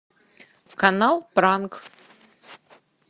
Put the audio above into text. канал пранк